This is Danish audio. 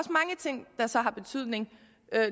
er så har betydning